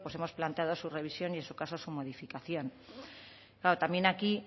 pues hemos planteado su revisión y en su caso su modificación claro también aquí